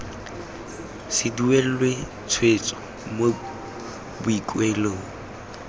se duelwe tshwetso mo boikuelong